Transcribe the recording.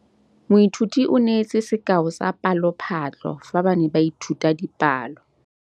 Moithuti o neetse sekaô sa palophatlo fa ba ne ba ithuta dipalo.